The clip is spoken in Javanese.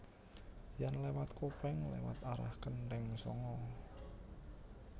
Yen lewat Kopeng lewat arah Kenteng Sanga